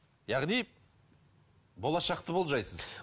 яғни болашақты болжайсыз